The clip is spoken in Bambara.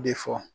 De fɔ